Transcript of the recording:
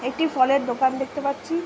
একটি ফলের দোকান দেখতে পাচ্ছি-ই ।